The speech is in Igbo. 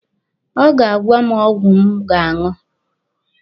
Ọ ga-agwa m ọgwụ m ga-aṅụ.